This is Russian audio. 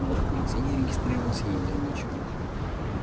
борт нигде не регистрировался и не делал ничего